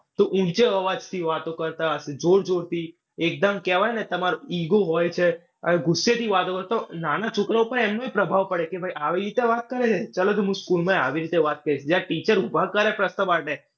તો ઊંચો અવાજથી વાતો કરતા હશે. જોર-જોરથી. એકદમ કહેવાય ને તમારું ego હોઈ છે. આ ગુસ્સેથી વાતો કરે. તો નાના છોકરા ઉપર એમનો જ પ્રભાવ પડે કે ભાઈ આવી રીતે વાત કરે છે ચાલો તો હું school માં આવી રીતે વાત કરીશ. જ્યારે teacher ઉભા કરે પ્રશ્ન માટે.